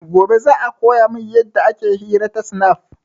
Gobe za a koya min yadda ake hira ta snap